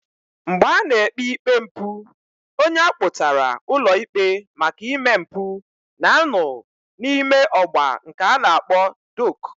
Mgbe a na-ekpe ikpe mpu, onye akpotara ulo ikpe maka ime mpu na-ano n'ime ogba nke a na-akpo dok.